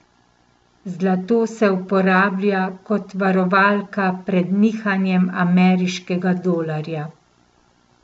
Zlato se uporablja kot varovalka pred nihanjem ameriškega dolarja.